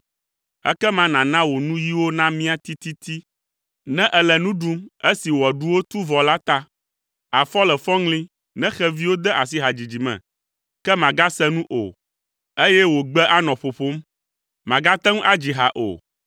ekema nàna wò nuyiwo namia tititi ne èle nu ɖum esi wò aɖuwo tu vɔ la ta! Àfɔ le fɔŋli, ne xeviwo de asi hadzidzi me, ke màgase nu o eye wò gbe anɔ ƒoƒom, màgate ŋu adzi ha o.